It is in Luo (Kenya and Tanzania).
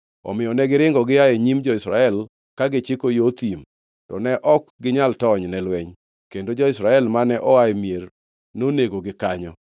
Omiyo negiringo gia e nyim jo-Israel ka gichiko yo thim, to ne ok ginyal tony ne lweny. Kendo jo-Israel mane oa e mier nonegogi kanyo.